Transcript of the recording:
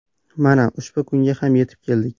Mana ushbu kunga ham yetib keldik.